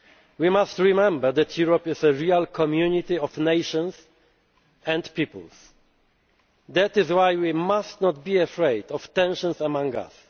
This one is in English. future. We must remember that Europe is a real community of nations and peoples, and that is why we must not be afraid of tensions